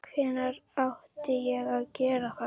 Hvenær átti ég að gera það?